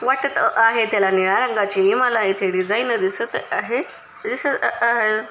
वाटत आहे त्याला नीळा रंगाची मला इथे डिझाईन दिसत आहे दिसत आहे.